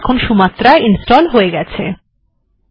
তাহলে এখন Sumatra install হয়ে গেছে